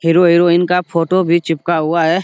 Hero heroine का photo भी चिपका हुआ है।